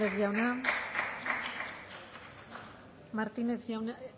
hernández jauna